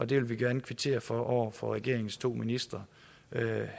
det vil vi gerne kvittere for over for regeringens to ministre